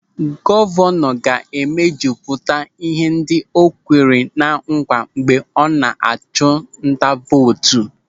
Gọvanọ ga-emejupụta ihe ndị o kwere ná nkwa mgbe ọ na-achụ nta vootu.